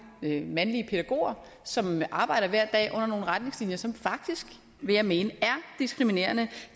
mandlige pædagoger som arbejder hver dag under nogle retningslinjer som faktisk vil jeg mene er diskriminerende